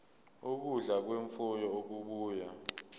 ukudla kwemfuyo okubuya